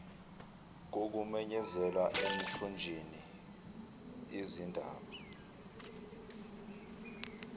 kokumenyezelwa emithonjeni yezindaba